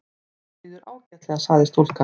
Honum líður ágætlega sagði stúlkan.